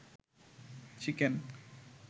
chicken